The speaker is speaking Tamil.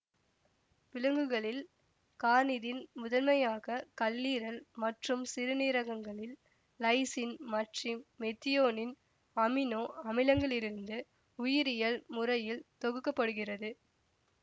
விலங்குகளில் கார்னிதின் முதன்மையாக கல்லீரல் மற்றும் சிறுநீரகங்களில் லைசின் மற்றிம் மெத்தியோனின் அமினோ அமிலங்களிலிருந்து உயிரியல் முறையில் தொகுக்கப்படுகிறது